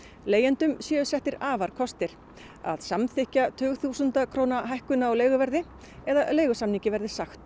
leigjendum séu settir afarkostir að samþykkja tugþúsunda króna hækkun á leiguverði eða leigusamningi verði sagt